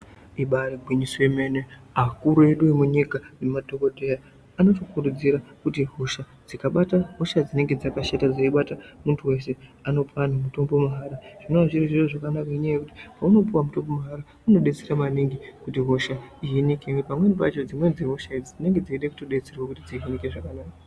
Ibaari gwinyiso yemene akuru edu emunyika nemadhokodhera anotikurudzira kuti hosha dzikabata hosha dzinenge dzakashata dzeibata munthu wsshe anopa munthu weshe mutombo mahara zvinoo zviri zvoo ngenyaya yekuti paunopuwa mutombo unodetsera maningi kuti hosha ihinike pamweni pacho dzimweni dzehosha idzi dzinenge dzeide kutodetserwe kuti dzihinike zvakanaka.